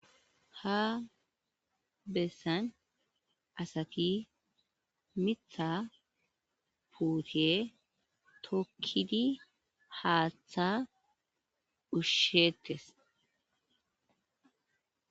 ha bessan asati mitha puute tokkidi haaththa ushsheettes